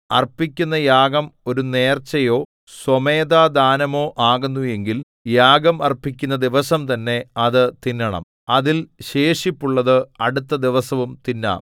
അർപ്പിക്കുന്ന യാഗം ഒരു നേർച്ചയോ സ്വമേധാദാനമോ ആകുന്നു എങ്കിൽ യാഗം അർപ്പിക്കുന്ന ദിവസം തന്നെ അത് തിന്നണം അതിൽ ശേഷിപ്പുള്ളത് അടുത്ത ദിവസവും തിന്നാം